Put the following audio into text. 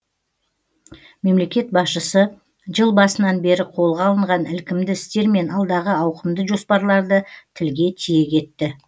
мемлекет басшысы жыл басынан бері қолға алынған ілкімді істер мен алдағы ауқымды жоспарларды тілге тиек етті